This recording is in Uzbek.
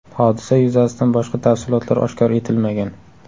Hodisa yuzasidan boshqa tafsilotlar oshkor etilmagan.